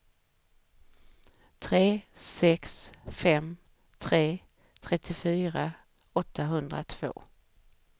tre sex fem tre trettiofyra åttahundratvå